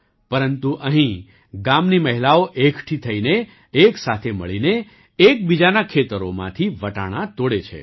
પરંતુ અહીં ગામની મહિલાઓ એકઠી થઈને એક સાથે મળીને એકબીજાનાં ખેતરોમાંથી વટાણા તોડે છે